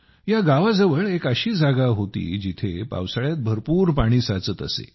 या गावाजवळ एक अशी जागा होती जिथे पावसाळ्यात भरपूर पाणी साचत असे